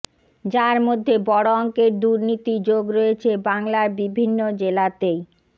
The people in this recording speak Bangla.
যার মধ্যে বড় অঙ্কের দুর্নীতি যোগ রয়েছে বাংলার বিভিন্ন জেলাতেই